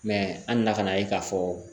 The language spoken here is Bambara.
an nana ka na ye ka fɔ